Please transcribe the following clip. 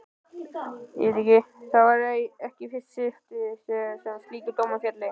Það væri ekki í fyrsta skipti sem slíkur dómur félli.